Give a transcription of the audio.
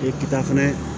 Ee kita fɛnɛ